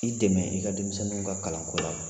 I dɛmɛ i ka denmisɛnninw ka kalan ko la.